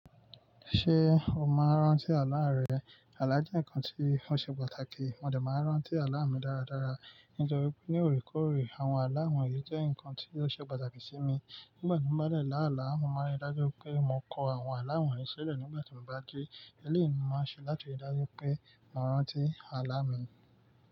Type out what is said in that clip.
Ṣé o máa ń rántí àlá rẹ? Àlá jẹ́ nǹkan tí ó ṣe pàtàkì, mo dẹ̀ máa ń rántí àlá mi dáradára. Nítorí pé ní òrékoore, àwọn àlá wọ̀nyí jẹ́ nǹkan tí ó ṣe pàtàkì sí mi. Nígbà tí mó bá dẹ̀ láàlá, mo máa ń rí i dájú pé mo kọ àwọn àlá wọ̀nyí sílẹ̀ nígbà tí mo bá jí. Elẹ́ẹ̀yìí ni mo máa ń ṣe láti rí i dájú pé màá rántí àlá mi.